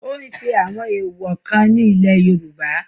ó ń ṣe àwọn èwọ̀ kan ní ilẹ̀ yorùbá